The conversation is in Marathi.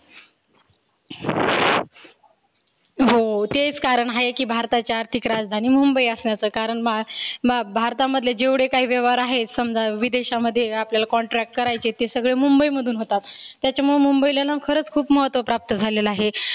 हो तेच कारण आहे की भारताची आर्थीक राजधानी मुंबई आसण्याच कारण म भारतामधले जेव्हढे काही व्यवहार आहेत समजा विदेशमध्ये आपल्याला contrac करायचे ते सगळे मुंबई मधून होतात. त्याच्यामुळ मुंबईला ना बरच खुप महत्व प्राप्त झालेलं आहे.